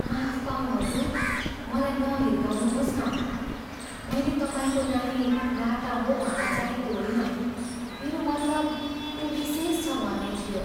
माफ पाऊँ हजुर, मलाई नहिर्काउनुहोस् न। मैल तपाईँको नानी लाटा हो भन्न चाहेको होइन। मेरो मतलब ऊ विशेष छ भन्ने थियो।